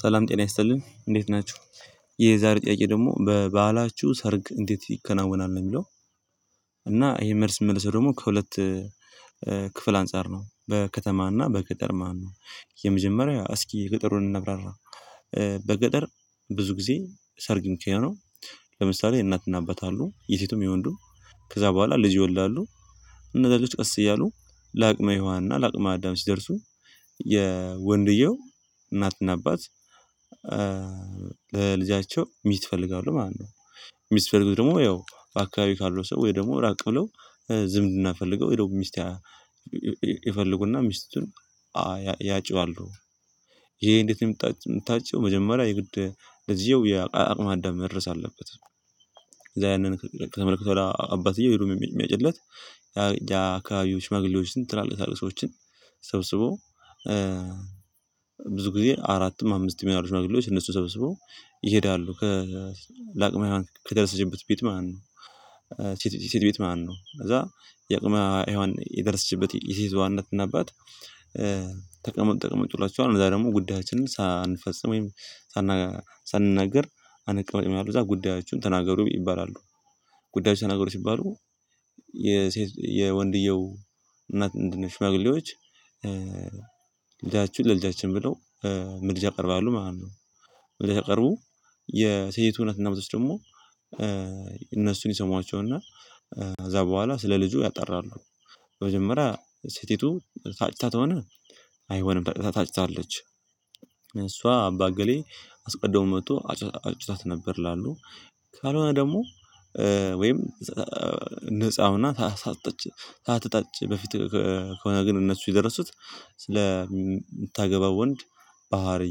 ሰላም ጤና ያስጥልን እንዴት ናችሁ። የዛሬ ጥያቄ ደግሞ በባህላቹሁ ሰርግ እንዴት ይከናወናል ነው የሚለው? እና ይሄ መልስ የምመልሰው ደግሞ ከሁለት ክፍል አንፃር ነው በከተማና በገጥር ማለት ነው። የመጀመሪያ እስኪ የገጠሩን እናብራራ። በገጠር ብዙ ጊዜ ሰርግን ኪያኖ ለምሳሌ የእናትና አበታሉ የሴቱም የወንዱም ከዛ በኋላ ልጅ ይወላሉ። እነዛ ልጆች ቀስ እያሉ ለአቅመ ሒዋን እና ለአቅመ አዳም ሲደርሱ። የወንድየው እናትና አባት ለልጃቸው ሚት ይፈልጋሉ ማለት ነው። ሚስፈልጉት ደግሞ ያው በአካባቢው ካሉት ሰው ወይ ደግሞ ራቅ ብለው ዝምድና ፈልገው ወይ ደግሞ ሚስቴ ይፈልጉና ሚስቱን ያጨዋሉ። ይሄ እንዴት እምታጭው መጀመሪያ የግድ ልጅየው የአቅመ ኣዳም መድረስ አለበት። እዛ ያንን ከተመለከተው አባትየው ሄዶ የሚያጭለት ያ አካባቢዎች ሽማግለዎችን ትላልቅ ትላልቅ ሰዎችን ሰብስቦ ብዙ ጊዜ አራትም አምስትም ያሉ ሽማግሌዎች እነሱ ሰብስቦ ይሄዳሉ ከ ላቅመ ሂዋን ከደረሰችበት ቤት ማለት ነው። ሴት ቤት ማለት ነው ከዛ የቅመ ሄዋን የደረሰችበት የሴትዋ እናትና አባት ተቀመጥ ትሏቸዋል እዛ ደግሞ ጉዳያችንን ሳንፈጽም ወይም ሳናገር ሳንናገር አነቀመጥም ያሉት እዛ ጉዳያቸውን ተናገሩ ይባላሉ። ጉዳያቸውን ተናገሩ ሲባሉ የሴት የወንድየው እናት እንድንሽማግሌዎች ልጃችሁን ለልጃችን ብለው ምድጃ ይቀርባሉ ማለት ነው። ምድጃ ቀርቡ የሴት እውነትና ምት ውስጥ ደግሞ እነሱን ይሰሟቸውና ከዛ በኋላ ስለ ልጁ ያጣራሉ። መጀመሪያ ሴቲቱ ታጭታ ተሆነ አይሆንም ታጭታለች እሷ አባ አገሌ አስቀድሞ መጥቶ አጭታት ነበር ይላሉ። ካልሆነ ደግሞ ወይም ነፃ ሁና ሳትጠጭ ሳትታጭ በፊት ከሆነ ግን እነሱ የደረሱት ስለ የምታገባው ወንድ ባህሪ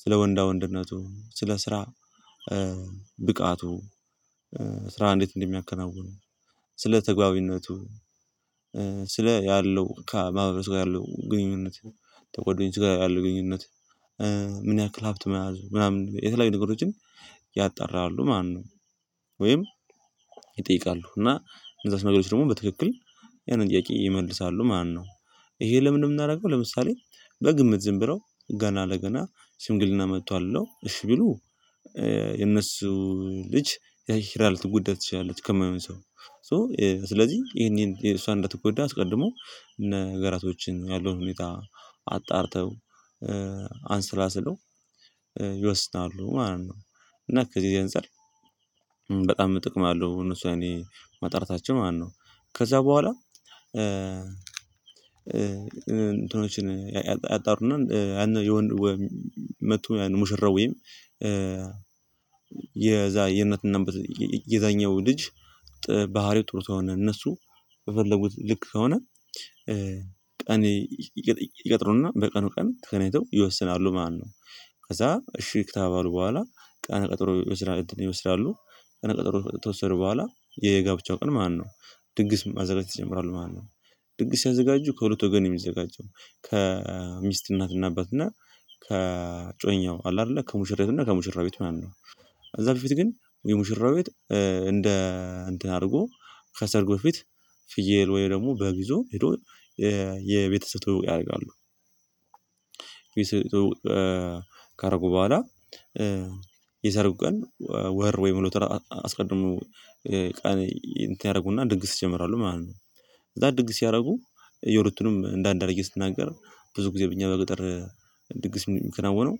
ስለ ወንዳ ወንድነቱ ስለ ስራ ብቃቱ ስራ እንዴት እንደሚያከናውን። ስለ ተግባዊነቱ ስለ ያለው ከማህበረስ ጋር ያለው ግንኙነት ተጋደኞቹ ጋ ያለው ግንኙነት ምን ያህል ሀብት መያዝ ምናምን የተለያዩ ነገሮችን ያጣራሉ። ማነው ወይም ይጠይቃሉ እና ንዛት ነገሮች ደግሞ በትክክል ያንን ጥያቄ ይመልሳሉ ማነው? ይሄ ለምን የምናደርገው ለምሳሌ በግምት ዝም ብለው ገና ለገና ሽምንግልና መጥቷል ብሎ እሺ ቢሉ የነሱ ልጅ የኪራል ትጎዳ ትችያለች ከማይሆን ሰው ሶ ስለዚህ ይሄን የሷን እንደተጎዳ አስቀድሞ ነገራቶችን ያለውን ሁኔታ አጣርተው አንስላ ስለው ይወስናሉ። ማለት ነው እና እዚህጋ አንጳር በጣም ጥቅም አለው። እነሱ የኔ ማጣራታችን ማነው ከዛ በኋላ እንትኖችን ያጣሩና ያን የወንድ መጥቶ ያን ሙሽራ ወይም የዛ የእናትና የዛኛው ልጅ ባህሪው ጥሩ ቶሆነ እነሱ በፈለጉት ልክ ከሆነ ቀን ይቀጥሩና በቀኑ ቀን ተገናኝተው ይወስናሉ ማለትነው። ከዛ እሺ ክተባሉ በኋላ ቀን ቀጥሮ ይወስናል ይወስዳሉ ቀነቀጠሮ ከተወሰደ በኋላ የጋብቻው ቀን ማለትነው። ድንግስ ማዘረጅ ይጀምራሉ ማነው ድግስ ያዘጋጁ ከሁለት ወገን የሚዘጋጀው ከሚስት እናትና አባትና ከጮኛው አለ አይደለ ከሙሽራው እና ከሙሽራው ቤት ማለት ነው። ከዛ በፊት ግን የሙሽራው ቤት እንደ እንትን አድርጎ ከሰርግ በፊት ፍየል ወይ ደግሞ በግ ይዞ ሄዶ የቤተሰብ ትውውቅ ያደርጋሉ። ካሩጉ በኋላ የሰርጉ ቀን ወር ወይ ሁለት ወር አስቀድሞ ቀን ያደርጉና ድንግስ ይጀምራሉ ማለት ነው። ከዛ ድንግስ ሲያደረጉ የሩቱንም እንደ አንድ አድርጌ ስትናገር ብዙ ጊዜ በእኛ በገጠር ድግስ የሚከናወነው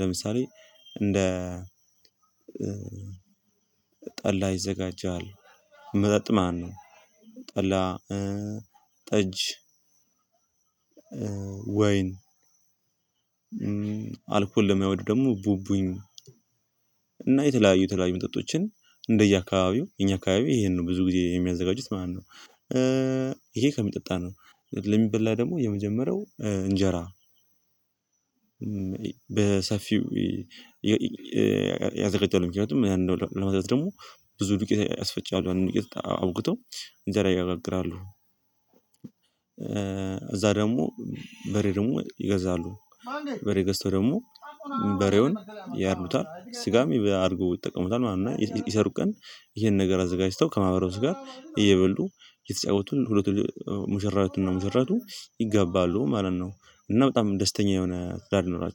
ለምሳሌ እንደ ጠላ ይዘጋጃል መጠጥ ማለት ነው። ጠላ ጠጅ ወይን አልኮል ለማይወዱ ደግሞ ቡቡኝ እና የተለያዩ ተለያዩ መጠጦችን እንደየአካባቢው የኛ አካባቢ ይሄን ነው ብዙ ጊዜ የሚያዘጋጁት ማለት ነው። ይሄ ከሚጠጣን ነው ለሚበላ ደግሞ የመጀመሪያው እንጀራ በሰፊው ያዘጋጃሉ ምክንያቱም ያን ለማድረግ ደግሞ ብዙ ዱቄት ያስፈጫሉ አውክቶው እንጀራ ያጋግራሉ። እዛ ደግሞ በሬ ደግሞ ይገዛሉ በሬ ገዝተው ደግሞ በሬውን ያርዱታል ስጋም አድርገው ይጠቀሙታል ማለት ነው። እና ይሰሩ ቀን ይሄን ነገር አዘጋጅተው ከማህበረው ጋር እየበሉ የተጫወቱን ሁለቱን ሙሽራቱና ሙሽራቱ ይገባሉ ማለት ነው። እና በጣም ደስተኛ የሆነ ትዳር ይኖራቸው